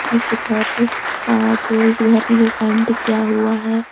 इस घर का जो इस घर में जो पेंट किया हुआ है --